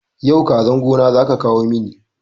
Yau kazan gona zaka kawo mini